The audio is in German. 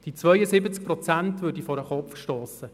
Die 72 Prozent würden vor den Kopf gestossen.